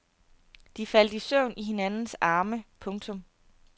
De faldt i søvn i hinandens arme. punktum